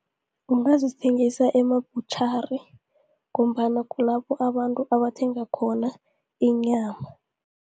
Ungazithengisa ema-butchery, ngombana kulapho abantu abathenga khona inyama.